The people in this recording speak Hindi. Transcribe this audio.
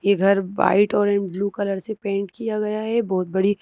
ये घर वाइट और एं ब्लू कलर से पेंट किया गया है बहुत बड़ी--